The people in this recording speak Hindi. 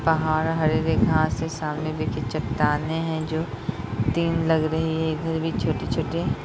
पहाड़ और हरी-हरी घाँस है सामने देखिये चट्टाने हैं जो तीन लग रही हैं इधर भी छोटी छोटी |